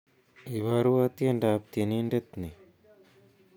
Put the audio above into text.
Iborwo tiendoab tienindet ni